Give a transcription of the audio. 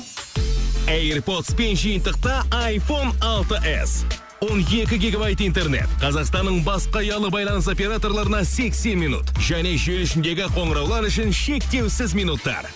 эйрпотспен жиынтықта айфон алты с он екі гигабайт интернет қазақстанның басқа ұялы байланыс операторларына сексен минут және желі ішіндегі қоңыраулар үшін шектеусіз минуттар